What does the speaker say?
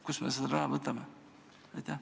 Kust me selle raha võtame?